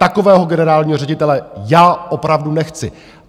Takového generálního ředitele já opravdu nechci!